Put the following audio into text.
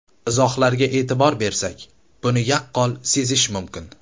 Izohlarga e’tibor bersak, buni yaqqol sezish mumkin.